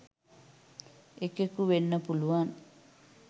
එකෙකු වෙන්න පුළුවන්.